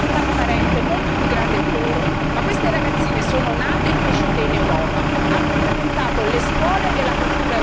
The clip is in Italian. Ma queste ragazzine sono nate e cresciute in Europa, hanno frequentato le scuole e la cultura europea, sono a tutti gli effetti europee.